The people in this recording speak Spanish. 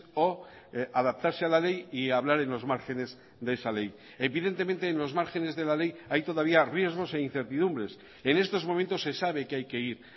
o adaptarse a la ley y hablar en los márgenes de esa ley evidentemente en los márgenes de la ley hay todavía riesgos e incertidumbres en estos momentos se sabe que hay que ir